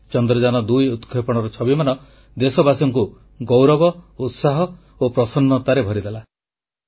ଚନ୍ଦ୍ରଯାନ2 ଉତକ୍ଷେପଣର ଛବିମାନ ଦେଶବାସୀଙ୍କୁ ଗୌରବ ଉତ୍ସାହ ଓ ପ୍ରସନ୍ନତାରେ ଭରିଦେଲା